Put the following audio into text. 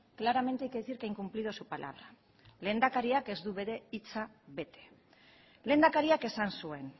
claramente hay que decir que ha incumplido su palabra lehendakariak ez du bere hitza bete lehendakariak esan zuen